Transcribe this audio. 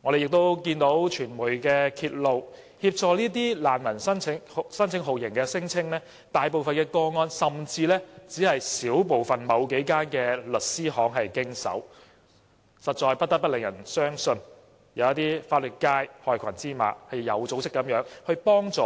我們亦看到傳媒揭露，大部分協助這些難民申請酷刑聲請的個案只是由某幾間律師行經手，實在不得不令人相信，有一些法律界的害群之馬有組織地幫助